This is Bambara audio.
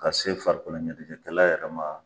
Ka se farikolo ɲɛnajɛkɛla yɛrɛ ma.